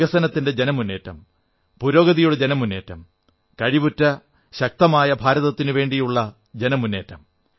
വികസനത്തിന്റെ ജനമുന്നേറ്റം പുരോഗതിയുടെ ജനമുന്നേറ്റം കഴിവുറ്റശക്തമായ ഭാരതത്തിനുവേണ്ടിയുള്ള ജനമുന്നേറ്റം